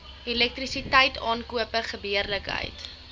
elektrisiteit aankope gebeurlikhede